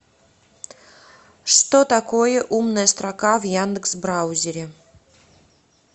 что такое умная строка в яндекс браузере